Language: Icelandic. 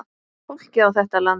Fólkið á þetta land.